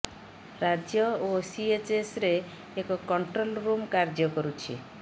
ରାଜ୍ୟ ଓ ସିଏଚ୍ସରେ ଏକ କଣ୍ଟ୍ରୋଲ ରୁମ୍ କାର୍ଯ୍ୟ କରୁଛି